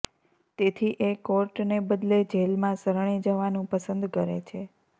તેથી એ કોર્ટને બદલે જેલમાં શરણે જવાનું પસંદ કરે છે